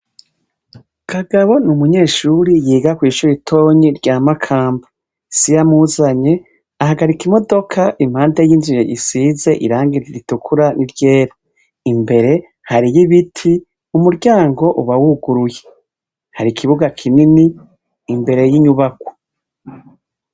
Kagabo n'umunyeshure yiga kw'ishure ritonyi rya Makamba. Se iyamuzanye ahagarika imodoka impande y'inzu isize irangi ritukura n'iryera, imbere hariyo ibiti umuryango ubawuguruye, hari ikibuga kinini imbere y'inyubakwa.